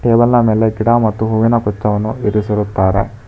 Table ನ ಮೇಲೆ ಗಿಡ ಮತ್ತು ಹೂವಿನ ಬಿತ್ತವನ್ನು ಇಡಿಸಿರುತ್ತಾರೆ.